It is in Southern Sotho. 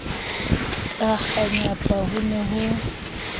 ka kganyapa ho ne ho